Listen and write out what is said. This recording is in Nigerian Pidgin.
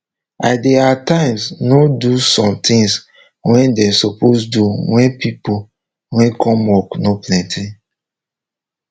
i dey at times nor do some tins wey dem suppose do wen pipo wey come work nor plenty